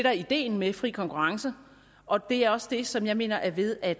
er ideen med fri konkurrence og det er også det som jeg mener er ved at